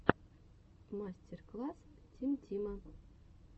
мастер класс тим тима